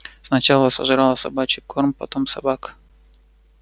сначала сожрала собачий корм потом собак